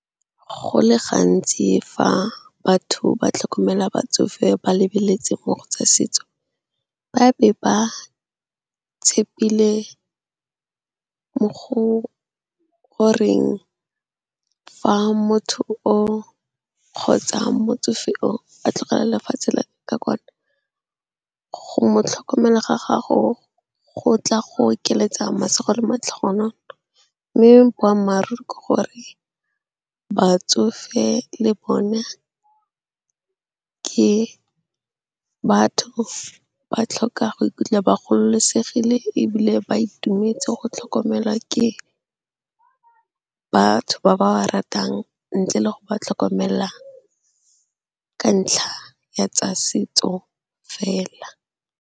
Go le gantsi fa batho ba tlhokomela batsofe ba lebeletse mo go tsa setso. Ba be ba tshepile mo go goreng fa motho kgotsa motsofe a tlogela lefatshe la kwa kwano. Go mo tlhokomela ga gago go tla go okeletsa masego le matlhogonolo. Mme boammaaruri ke gore batsofe le bona ke batho ba ba tlhokang go ikutlwa ba gololosegile ebile ba itumetse go tlhokomelwa ke batho ba ba ba ratang, ntle le go ba tlhokomela seng ka ntlha ya tsa setso fela.